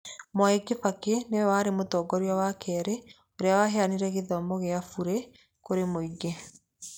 Mwai Kibakĩ nĩwe warĩ mũtngoria wa kerĩ ũrĩa waheanire gĩthomo gĩa burĩ kũrĩ mũingĩ